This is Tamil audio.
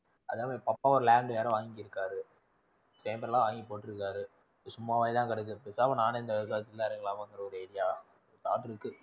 அதாவது பக்காவா land யாரோ வாங்கிருக்காரு, எல்லாம் வாங்கி போட்டிருக்காரு. சும்மாவே தான் கிடக்கறது பேசாம நானே full ஆ இறங்கலாமாங்குற ஒரு idea